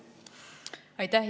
Aitäh!